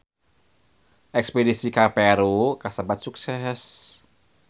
Espedisi ka Peru kasebat sukses